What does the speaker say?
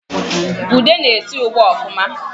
Ude na-esi ugba ọfụma